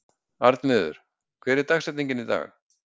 Arnviður, hver er dagsetningin í dag?